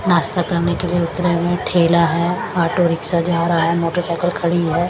नाश्ता करने के लिए उतरे हुए हैं ठेला है ऑटो रिक्शा जा रहा है मोटरसाइकिल खड़ी है।